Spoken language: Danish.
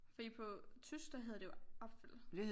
Fordi på tysk der hedder det jo apfel